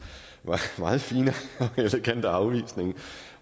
meget fine og elegante afvisning